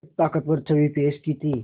एक ताक़तवर छवि पेश की थी